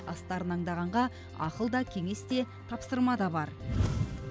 астарын аңдағанға ақыл да кеңес те тапсырма да бар